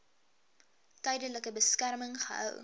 tydelike beskerming gehou